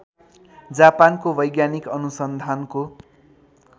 जापानको वैज्ञानिक अनुसन्धानको